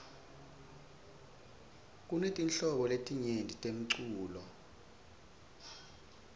kunetinhlobo letinyeti temlulo